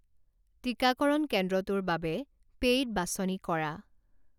টিকাকৰণ কেন্দ্ৰটোৰ বাবে পেইড বাছনি কৰা।